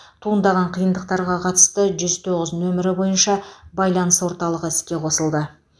туындаған қиындықтарға қатысты жүз тоғыз нөмірі бойынша байланыс орталығы іске қосылды